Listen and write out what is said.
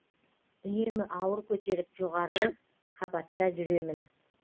үнемі ауыр көтеріп жоғары қабатта жүремін